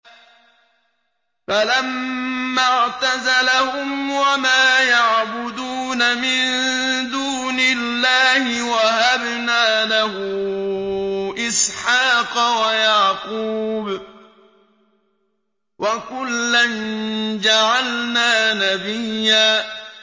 فَلَمَّا اعْتَزَلَهُمْ وَمَا يَعْبُدُونَ مِن دُونِ اللَّهِ وَهَبْنَا لَهُ إِسْحَاقَ وَيَعْقُوبَ ۖ وَكُلًّا جَعَلْنَا نَبِيًّا